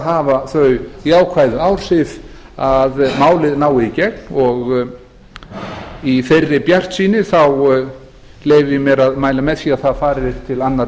hafa þau jákvæðu áhrif að málið nái í gegn í þeirri bjartsýni leyfi ég mér að mæla með því að það fari til síðari